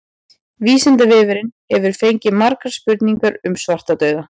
Vísindavefurinn hefur fengið margar spurningar um svartadauða.